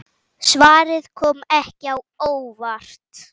Svarið kom ekki á óvart.